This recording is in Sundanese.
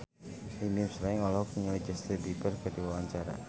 Bimbim Slank olohok ningali Justin Beiber keur diwawancara